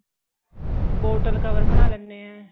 bottle cover ਬਣਾ ਲੈਣੇ ਏ